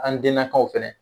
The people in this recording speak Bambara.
An dennakaw fɛnɛ